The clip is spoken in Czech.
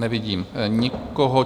Nevidím nikoho.